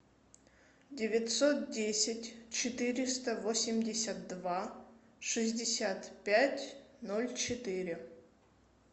девятьсот десять четыреста восемьдесят два шестьдесят пять ноль четыре